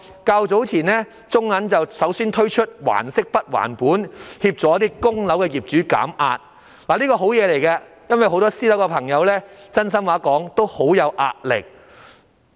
較早時候，中國銀行首先推出"還息不還本"的安排，協助一些供樓的業主減壓，這是好事，因為很多私樓業主都表示承受到壓力。